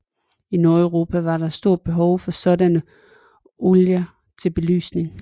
I Nordeuropa var der et stort behov for sådanne olier til belysning